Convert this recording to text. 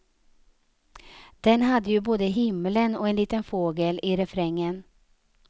Den hade ju både himlen och en liten fågel i refrängen.